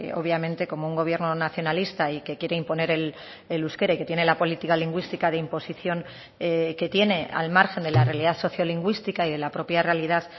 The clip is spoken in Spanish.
obviamente como un gobierno nacionalista y que quiere imponer el euskera y que tiene la política lingüística de imposición que tiene al margen de la realidad sociolingüística y de la propia realidad